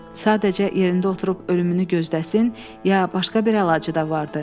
Sadəcə yerində oturub ölümünü gözləsin, ya başqa bir əlacı da vardı.